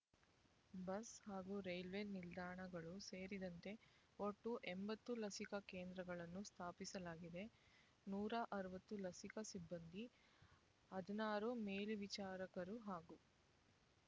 bus ಹಾಗೂ railway ನಿಲ್ದಾಣಗಳು ಸೇರಿದಂತೆ ಒಟ್ಟು ಎಂಬತ್ತು ಲಸಿಕಾ ಕೇಂದ್ರಗಳನ್ನು ಸ್ಥಾಪಿಸಲಾಗಿದೆ ನೂರ ಅರವತ್ತು ಲಸಿಕಾ ಸಿಬ್ಬಂದಿ ಹದಿನಾರು ಮೇಲ್ವಿಚಾರಕರು ಹಾಗೂ